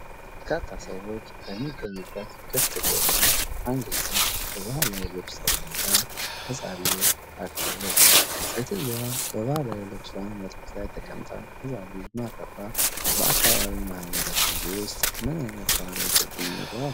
በርካታ ሰዎች በሚገኙበት ክፍት ቦታ አንዲት ሴት በባህላዊ ልብስ ተቀምጣ ሕፃን ልጅ አቅፋለች። ሴትየዋ በባህላዊ ልብስዋ መሬት ላይ ተቀምጣ ሕፃን ልጅ ማቀፏ በአካባቢው ማህበረሰብ ውስጥ ምን ዓይነት ባህላዊ ትርጉም ይኖረዋል?